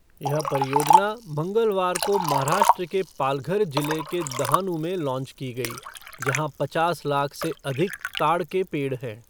यह परियोजना मंगलवार को महाराष्ट्र के पालघर जिले के दहानु में लांच की गई, जहां पचास लाख से अधिक ताड़ के पेड़ हैं।